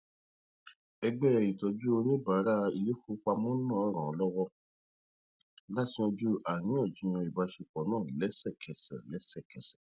ẹgbẹ ìtọjú oníbàárà iléifowopamọ náà ran lọwọ láti yanju àríyànjiyàn ìbáṣepọ náà lẹsẹkẹsẹ lẹsẹkẹsẹ